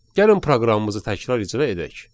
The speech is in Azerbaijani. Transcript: Gəlin proqramımızı təkrar icra edək.